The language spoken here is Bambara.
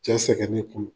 Cɛ sɛgɛn ne kun